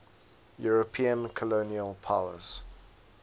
european colonial powers